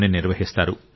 ని నిర్వహిస్తారు